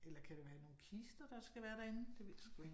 Eller kan det være nogle kister der kan være derinde? Det ved jeg sgu ikke